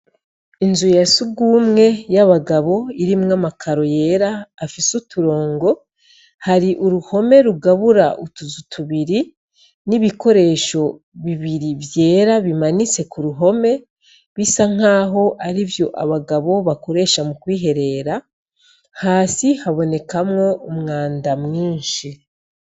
Inzu yasugumwe y'abagabo' irimwo 'amakaro yer' afis' uturongo, har'uruhome rugabur' utuzu tubiri n' ibikoresho bibiri vyera bimanitse kuruhome bisankah' arivy'abagabo bakoresha mu kwiherera, hasi habonekamw' umwanda mwinshi.